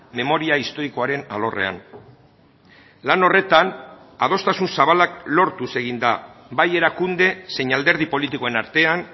memoria historikoaren alorrean lan horretan adostasun zabalak lortuz egin da bai erakunde zein alderdi politikoen artean